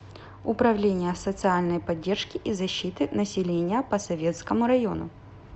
управление социальной поддержки и защиты населения по советскому району